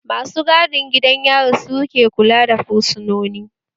Masu gadin gidan yari su ke kula da fursunoni